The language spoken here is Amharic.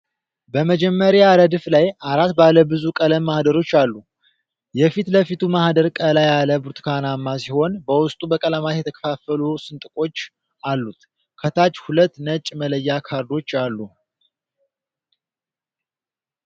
በመጀመሪያው ረድፍ ላይ አራት ባለ ብዙ ቀለም ማህደሮች አሉ። የፊትለፊቱ ማህደር ቀላ ያለ ብርቱካናማ ሲሆን በውስጡ በቀለማት የተከፋፈሉ ስንጥቆች አሉት። ከታች ሁለት ነጭ መለያ ካርዶች አሉ።